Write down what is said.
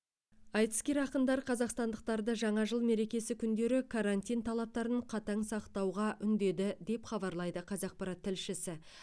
айтыскер ақындар қазақстандықтарды жаңа жыл мерекесі күндері карантин талаптарын қатаң сақтауға үндеді деп хабарлайды қазақпарат тілшісі